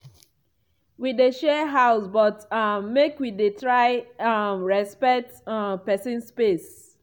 wi dey share house but um make wi dey try um respect um pesin space.